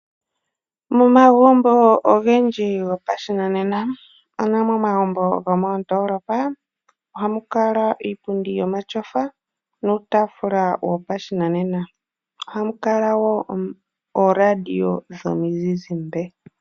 Momagumbo ogendji goshinanena ano omagumbo gomoondoolopa oha mu kala iipundi yomatyofa nuutaafula wopashinanena . Ohamu kala woo ooradio dhomuzizimba.